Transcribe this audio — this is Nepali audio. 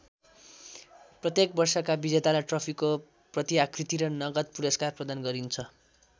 प्रत्येक वर्षका विजेतालाई ट्रफीको प्रतिआकृति र नगद पुरस्कार प्रदान गरिन्छ।